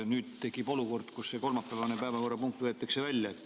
Nüüd tekib olukord, kus see kolmapäevane päevakorrapunkt võetakse välja.